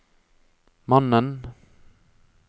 mannen